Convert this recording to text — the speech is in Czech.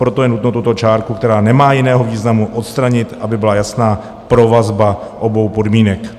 Proto je nutno tuto čárku, která nemá jiného významu, odstranit, aby byla jasná provazba obou podmínek.